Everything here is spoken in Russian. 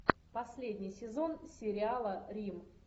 последний сезон сериала рим